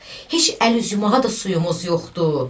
Heç əl üz yumağa da suyumuz yoxdur.